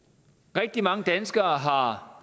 rigtig mange danskere har